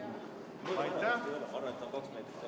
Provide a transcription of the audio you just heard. Aitäh!